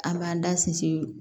An b'an da sinsin